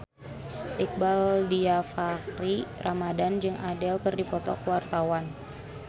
Iqbaal Dhiafakhri Ramadhan jeung Adele keur dipoto ku wartawan